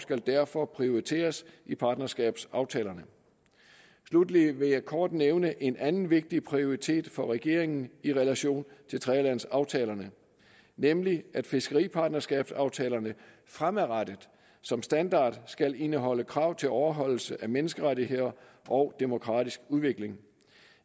skal derfor prioriteres i partnerskabsaftalerne sluttelig vil jeg kort nævne en anden vigtig prioritet for regeringen i relation til tredjelandsaftalerne nemlig at fiskeripartnerskabsaftalerne fremadrettet som standard skal indeholde krav til overholdelse af menneskerettigheder og demokratisk udvikling